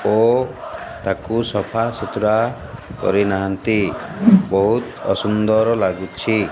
ଓ ତାକୁ ସଫା ସୁତୁରା କରି ନାହାନ୍ତି ବହୁତ ଅସୁନ୍ଦର ଲାଗୁଛି।